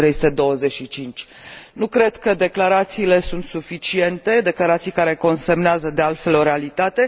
1325. Nu cred că declarațiile sunt suficiente, declarații care consemnează de altfel o realitate